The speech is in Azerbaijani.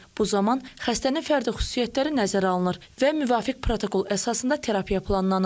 Bu zaman xəstənin fərdi xüsusiyyətləri nəzərə alınır və müvafiq protokol əsasında terapiya planlanır.